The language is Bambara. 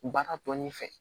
Baara tɔ ni fɛ